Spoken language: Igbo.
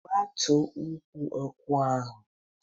Gbutuo ukwu nkwụ ahụ!